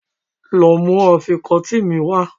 Lọ mú àfikọ́tí mi wá.